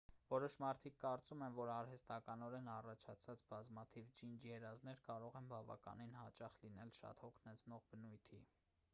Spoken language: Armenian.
որոշ մարդիկ կարծում են որ արհեստականորեն առաջացված բազմաթիվ ջինջ երազներ կարող են բավականին հաճախ լինել շատ հոգնեցնող բնույթի